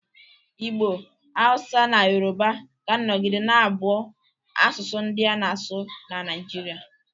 Igbo, Hausa na Yoruba ga-anọgide na-abụ asụsụ ndị a na-asụ na Naịjirịa